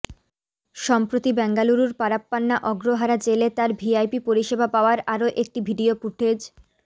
সম্প্রতি বেঙ্গালুরুর পারাপ্পানা অগ্রহারা জেলে তাঁর ভিভিআইপি পরিষেবা পাওয়ার আরও একটি ভিডিও ফুটেজ